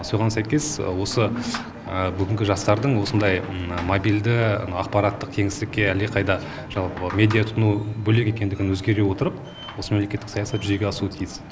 соған сәйкес осы бүгінгі жастардың осындай мобильді ақпараттық теңсіздікке әлдеқайда жалпы медиатұтыну бөлек екенін ескере отырып осы мемлекеттік саясат жүзеге асуы тиіс